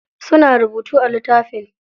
Suna rubutu a littafin.